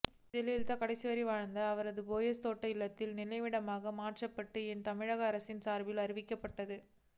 ஜெயலலிதா கடைசி வரை வாழ்ந்த அவரது போயஸ் தோட்ட இல்லத்தை நினைவிடமாக மாற்றப்படும் என தமிழக அரசின் சார்பில் அறிவிக்கப்பட்டது